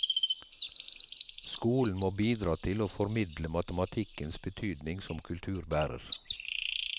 Skolen må bidra til å formidle matematikkens betydning som kulturbærer.